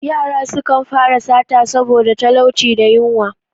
Yara sukan fara sata saboda talauci da yunwa.